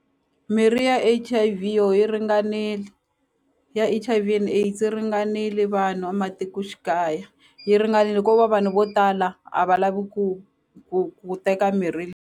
Mirhi ya H_I_V yo yi ringanile ya H_I_V and AIDS ringanile vanhu a matikoxikaya yi ringanele ko va vanhu vo tala a va lavi ku ku ku teka mirhi .